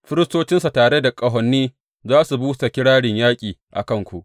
Firistocinsa tare da ƙahoni za su busa kirarin yaƙi a kanku.